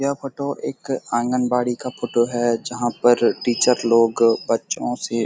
यह फोटो एक आंगनबाड़ी का फोटो है जहाँ पर टीचर लोग बच्चों से --